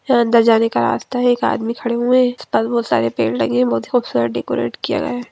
यह अंदर जाने का रास्ता है एक आदमी खड़े हुए है इस साइड बहुत सारे पेड़ लगे हैं बहुत ही खूबसूरत डेकोरेट किया गया है ।